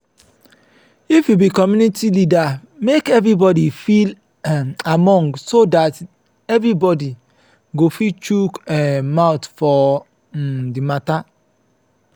if you be commumity leader make everybody feel um among so dat everybody go fit chook um mouth for um di matter